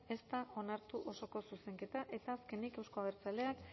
ez da onartu osoko zuzenketa eta azkenik euzko abertzaleak